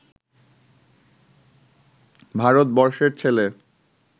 ভারতবর্ষের ছেলে